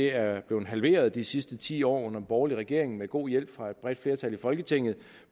er blevet halveret de sidste ti år under den borgerlige regering med god hjælp fra et bredt flertal i folketinget